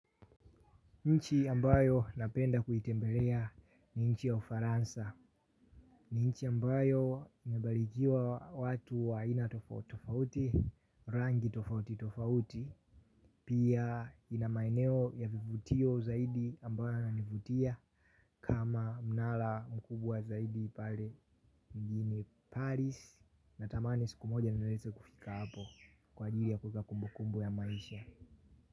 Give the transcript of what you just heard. Nchi ambayo napenda kuitembelea ni nchi ya ufaransa. Ni nchi ambayo imebarikiwa watu wa aina tofauti tofauti, rangi tofauti tofauti. Pia ina maeneo ya vivutio zaidi ambayo yananivutia kama mnara mkubwa zaidi pale mjini Paris. Natamani siku moja niweze kufika hapo kwa ajili ya kuweka kumbukumbu ya maisha.